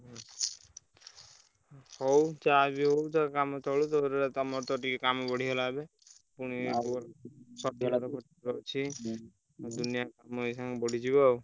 ହୁଁ ହଉ ଯାହା ହଉ କାମ ଚାଲୁ ତମର ତ କାମ ବଢିଗଲା ଏବେ ପୁଣି ଖର୍ଚ୍ଚ ।